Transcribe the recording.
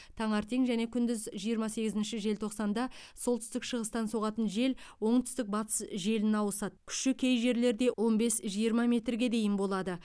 таңертең және күндіз жиырма сегізінші желтоқсанда солтүстік шығыстан соғатын жел оңтүстік батыс желіне ауысады күші кей жерлерде он бес жиырма метрге дейін болады